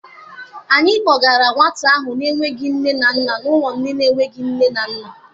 Anyị kpọgara nwata ahụ n'enweghị nne na nna n'ụlọ ndị enweghị nne na nna.